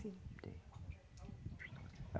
Tem, tem.